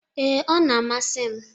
Ee, ọ na-amasi m.